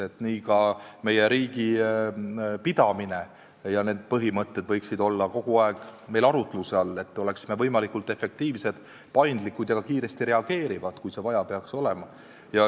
Nii võiksid ka meie riigi pidamise põhimõtted olla kogu aeg meil arutluse all, et me oleksime võimelised efektiivselt, paindlikult ja ka kiiresti reageerima, kui seda vaja peaks olema.